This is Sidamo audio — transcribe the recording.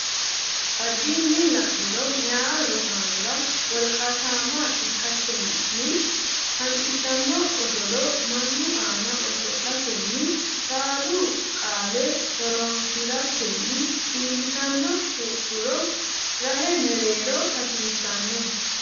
Addinni la niro meyaa rosaanora wolqaatamma ikkatenni hanqisanno osolo mannu aana oso latenni saalu qaale horonsi ratenni iillitanno heedhuro rahe mereero hasiissanno.